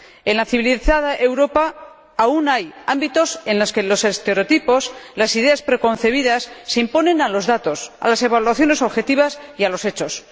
En la civilizada Europa aún hay ámbitos en los que los estereotipos, las ideas preconcebidas, se imponen a los datos, a las evaluaciones objetivas y a los hechos.